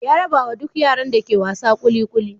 Ya rabawa duk yaran da ke wasa kuli kuli.